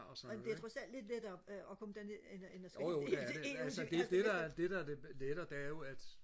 amen det er trods alt lidt lettere og og komme derned end og end og skulle helt ud helt ud til Herstedvester